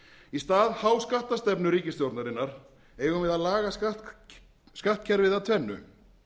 í stað háskattastefnu ríkisstjórnarinnar eigum við að laga skattkerfið að tvennu